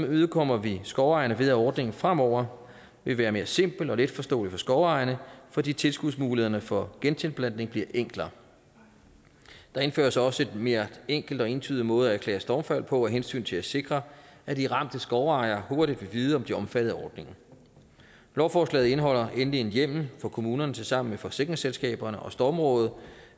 imødekommer vi skovejerne ved at ordningen fremover vil være mere simpel og letforståelig for skovejerne fordi tilskudsmulighederne for gentilplantning bliver enklere der indføres også en mere enkel og entydig måde at erklære stormfald på af hensyn til at sikre at de ramte skovejere hurtigt vil vide om de er omfattet af ordningen lovforslaget indeholder endelig en hjemmel for kommunerne til sammen med forsikringsselskaberne og stormrådet